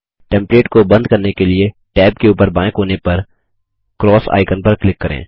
template को बंद करने के लिए टैब के ऊपर बायें कोने पर एक्स आइकन पर क्लिक करें